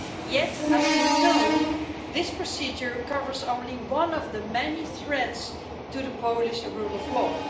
Yet as we know, this procedure covers only one of the many threats to the Polish rule of law.